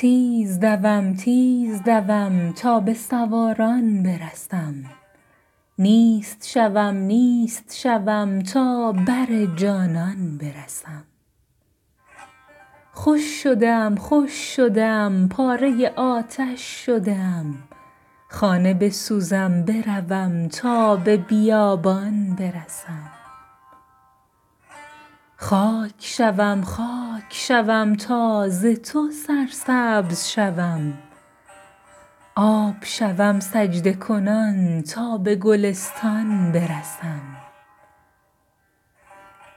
تیز دوم تیز دوم تا به سواران برسم نیست شوم نیست شوم تا بر جانان برسم خوش شده ام خوش شده ام پاره آتش شده ام خانه بسوزم بروم تا به بیابان برسم خاک شوم خاک شوم تا ز تو سرسبز شوم آب شوم سجده کنان تا به گلستان برسم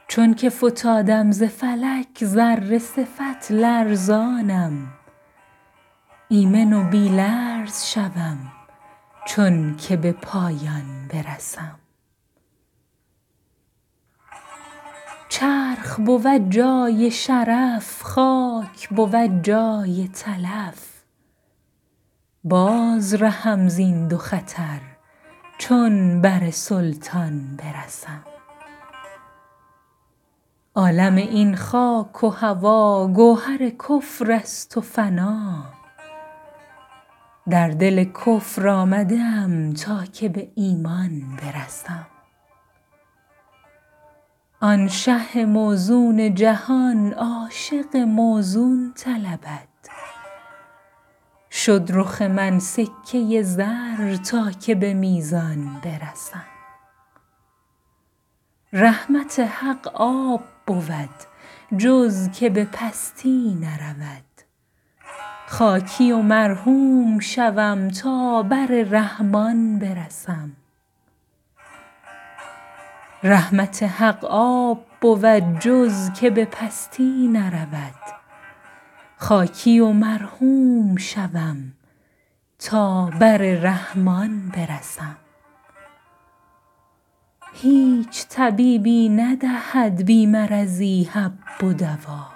چونک فتادم ز فلک ذره صفت لرزانم ایمن و بی لرز شوم چونک به پایان برسم چرخ بود جای شرف خاک بود جای تلف باز رهم زین دو خطر چون بر سلطان برسم عالم این خاک و هوا گوهر کفر است و فنا در دل کفر آمده ام تا که به ایمان برسم آن شه موزون جهان عاشق موزون طلبد شد رخ من سکه زر تا که به میزان برسم رحمت حق آب بود جز که به پستی نرود خاکی و مرحوم شوم تا بر رحمان برسم هیچ طبیبی ندهد بی مرضی حب و دوا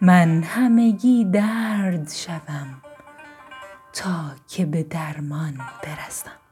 من همگی درد شوم تا که به درمان برسم